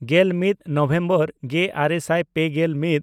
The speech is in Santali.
ᱜᱮᱞᱢᱤᱫ ᱱᱚᱵᱷᱮᱢᱵᱚᱨ ᱜᱮᱼᱟᱨᱮ ᱥᱟᱭ ᱯᱮᱜᱮᱞ ᱢᱤᱫ